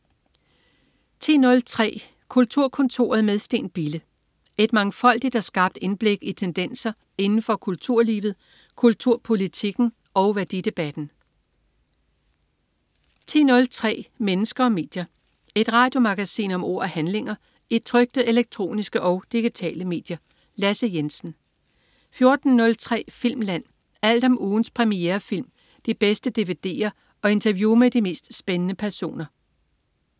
10.03 Kulturkontoret med Steen Bille. Et mangfoldigt og skarpt indblik i tendenser inden for kulturlivet, kulturpolitikken og værdidebatten 13.03 Mennesker og medier. Et radiomagasin om ord og handlinger i trykte, elektroniske og digitale medier. Lasse Jensen 14.03 Filmland. Alt om ugens premierefilm, de bedste dvd'er og interview med de mest spændende personer